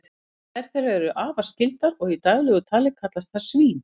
tvær þeirra eru afar skyldar og í daglegu tali kallast þær svín